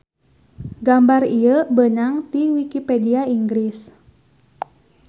Gambar ieu beunang ti wikipedia Inggris